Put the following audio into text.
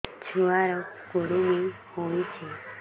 ଛୁଆ ର କୁରୁମି ହୋଇଛି